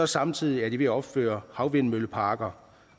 samtidig er de ved at opføre havvindmølleparker